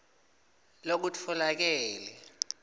lokutfolakele